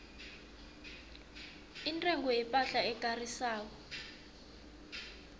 intengo yepahla ekarisako